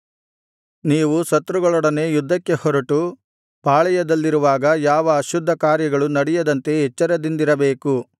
ನೀವು ಶತ್ರುಗಳೊಡನೆ ಯುದ್ಧಕ್ಕೆ ಹೊರಟು ಪಾಳೆಯದಲ್ಲಿರುವಾಗ ಯಾವ ಅಶುದ್ಧ ಕಾರ್ಯಗಳು ನಡೆಯದಂತೆ ಎಚ್ಚರದಿಂದಿರಬೇಕು